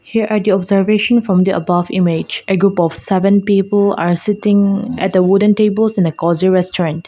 here are the observation from the above image a group of seven people are sitting at a wooden tables in a cozy restaurant.